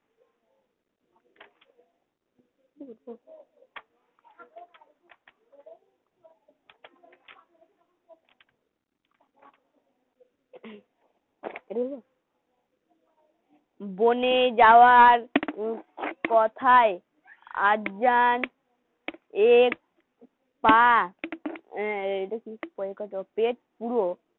বনে যাওয়ার কথায় আজ যার পেট হ্যাঁ পেট পুরো